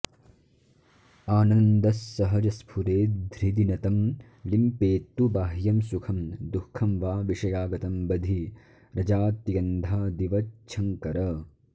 आनन्दस्सहजस्फुरेद्धृदि न तं लिम्पेत्तु बाह्यं सुखं दुःखं वा विषयागतं बधिरजात्यन्धादिवच्छङ्कर